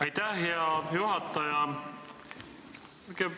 Aitäh, hea juhataja!